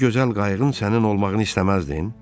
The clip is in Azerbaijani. Bu gözəl qayığın sənin olmağını istəməzdin?